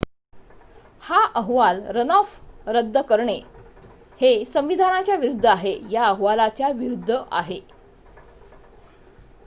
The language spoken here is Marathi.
हा अहवाल रनऑफ रद्द करणे हे संविधानाच्या विरूद्ध आहे या अहवालाच्या विरूद्ध आहे